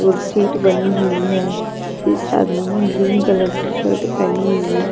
और शीट बनी हुई है इस आदमी ने ग्रीन कलर की शर्ट पहनी हुई है.